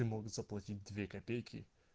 и могут заплатить две копейки